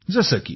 जसे की